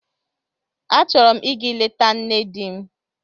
Achọrọ m ịga leta nne di m.